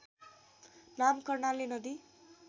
नाम कर्णाली नदी